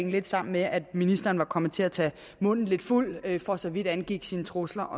lidt sammen med at ministeren var kommet til at tage munden lidt fuld for så vidt angik hendes trusler